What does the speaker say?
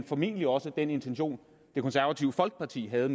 formentlig også den intention det konservative folkeparti havde